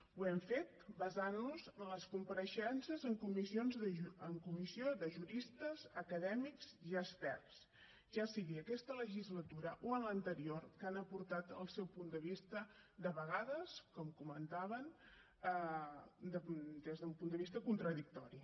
ho hem fet basant nos en les compareixences en comissió de juristes acadèmics i experts ja sigui aquesta legislatura o en l’anterior que han aportat el seu punt de vista de vegades com comentaven des d’un punt de vista contradictori